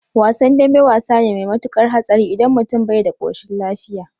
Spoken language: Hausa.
Wasan dambe wasa ne mai matukar hatsari idan mutum bai da koshin lafiya